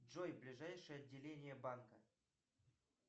джой ближайшее отделение банка